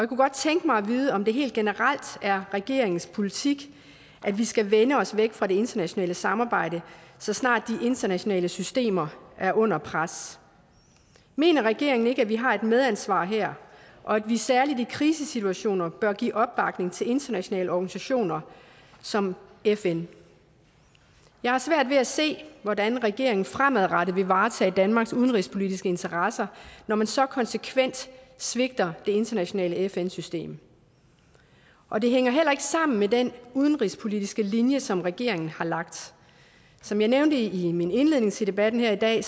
kunne godt tænke mig at vide om det helt generelt er regeringens politik at vi skal vende os væk fra det internationale samarbejde så snart de internationale systemer er under pres mener regeringen ikke at vi har et medansvar her og at vi særlig i krisesituationer bør give opbakning til internationale organisationer som fn jeg har svært ved at se hvordan regeringen fremadrettet vil varetage danmarks udenrigspolitiske interesser når man så konsekvent svigter det internationale fn system og det hænger heller ikke sammen med den udenrigspolitiske linje som regeringen har lagt som jeg nævnte i min indledning til debatten her i dag